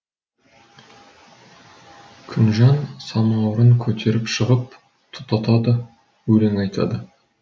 күнжан самаурын көтеріп шығып тұтатады өлең айтады